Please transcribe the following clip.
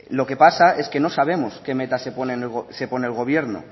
lo que pasa es que no sabemos qué meta se pone el gobierno